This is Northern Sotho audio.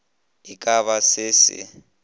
e ka ba se se